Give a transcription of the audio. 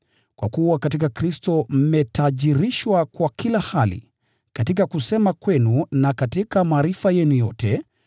Kwa kuwa katika Kristo mmetajirishwa kwa kila hali, katika kusema kwenu na katika maarifa yenu yote,